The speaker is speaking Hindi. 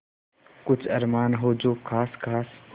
कुछ अरमान हो जो ख़ास ख़ास